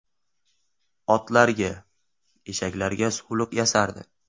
Otlarga, eshaklarga suvliq yasardi.